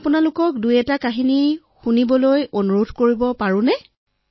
মই আপোনালোকক এটাদুটা সাধু শুনাবলৈ অনুৰোধ কৰিব পাৰো নে